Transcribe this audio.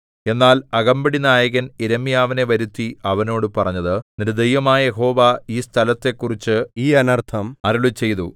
എന്നാൽ അകമ്പടിനായകൻ യിരെമ്യാവിനെ വരുത്തി അവനോട് പറഞ്ഞത് നിന്റെ ദൈവമായ യഹോവ ഈ സ്ഥലത്തെക്കുറിച്ച് ഈ അനർത്ഥം അരുളിച്ചെയ്തു